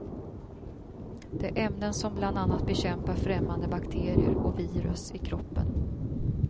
Det är ämnen som bland annat bekämpar främmande bakterier och virus i kroppen.